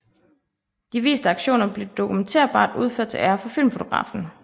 De viste aktioner blev dokumenterbart udført til ære for filmfotografen